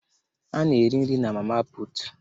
Ana eri nri na mama puutu.